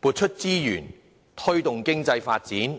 撥出資源推動經濟發展。